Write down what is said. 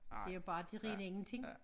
Det jo bare det rene ingenting